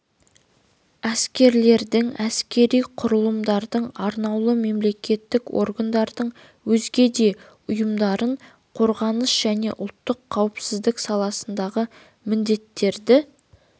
әскерлердің әскери құралымдардың арнаулы мемлекеттік органдардың өзге де ұйымдарын қорғаныс және ұлттық қауіпсіздік саласындағы міндеттерді